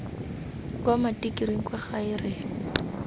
kwa matikiring kwa gae re